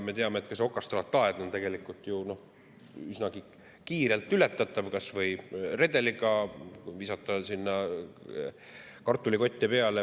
Me teame, et ka see okastraataed on tegelikult üsnagi kiirelt ületatav kas või redeliga või kui visata sinna kartulikotte peale.